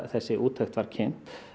þessi úttekt var kynnt